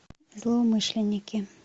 злоумышленники